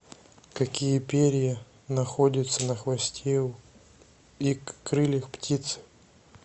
какие перья находятся на хвосте и крыльях птицы